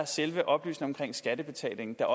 selve oplysningen om skattebetalingen er